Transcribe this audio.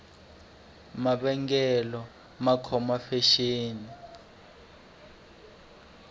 mavengele ma khome fexeni